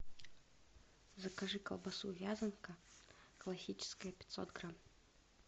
закажи колбасу вязанка классическая пятьсот грамм